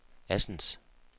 Assens